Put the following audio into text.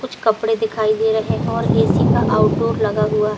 कुछ कपड़े दिखाई दे रहे हैं और ए सी का आउटडोर लगा हुआ--